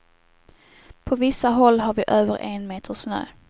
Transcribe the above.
På vissa håll har vi över en meter snö.